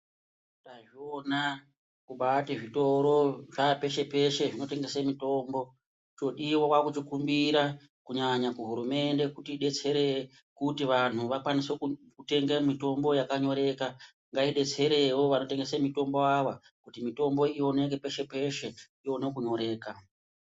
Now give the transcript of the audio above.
Tazviona kubaiti zvitoro zva peshe peshe zvino tengese mitombo chodiwa kwakuchi kumbira kunyanya ku hurumende kuti idetsere kuti vanhu vakwanise kutenge mitombo yaka nyoreka ngai detserewo vano tengese mutombo ava kuti mitombo iwoneke peshe peshe iwone ku nyoreka.